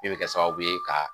Min bɛ kɛ sababu ye ka